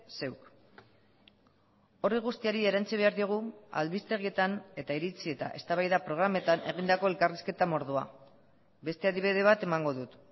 zeuk horri guztiari erantsi behar diogu albistegietan eta iritzi eta eztabaida programetan egindako elkarrizketa mordoa beste adibide bat emango dut